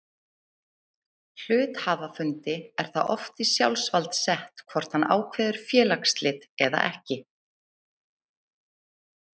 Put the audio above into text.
Hluthafafundi er það oft í sjálfsvald sett hvort hann ákveður félagsslit eða ekki.